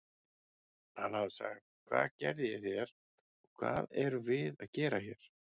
Hann hafi sagt: Hvað gerði ég þér og hvað erum við að gera hér?